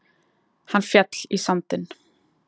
Hann féll í sandinn.